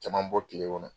Caman bɔ kile kɔnɔ